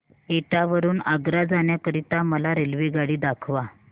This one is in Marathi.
एटा वरून आग्रा जाण्या करीता मला रेल्वेगाडी दाखवा